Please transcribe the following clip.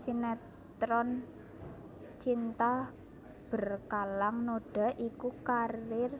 Sinetron Cinta Berkalang Noda iku karier